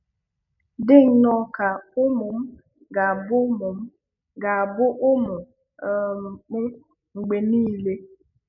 Dị nnọọ ka ụmụ m ga-abụ ụmụ m ga-abụ ụmụ um m mgbe nile